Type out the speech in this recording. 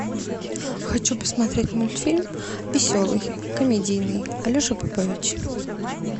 хочу посмотреть мультфильм веселый комедийный алеша попович